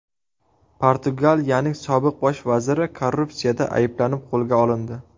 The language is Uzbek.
Portugaliyaning sobiq bosh vaziri korrupsiyada ayblanib qo‘lga olindi.